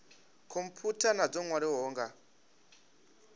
khomphutha na dzo nwaliwaho nga